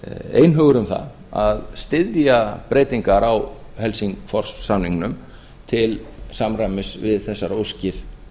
einhugur um það að styðja breytingar á helsingfors samningnum til samræmis við þessar óskir